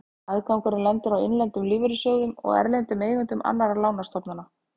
Afgangurinn lendir á innlendum lífeyrissjóðum og erlendum eigendum annarra lánastofnana.